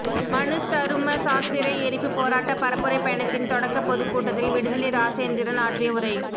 மனுதரும சாஸ்த்திர எரிப்பு போராட்ட பரப்புரைப் பயணத்தின் தொடக்கப் பொதுக்கூட்டத்தில் விடுதலை இராசேந்திரன் ஆற்றிய உரை